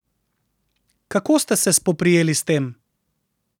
Kako ste se spoprijeli s tem?